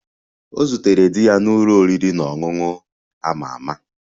Ọ zutere di ya n'ụlọ oriri na ọṅụṅụ a ma ama